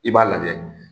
I b'a lajɛ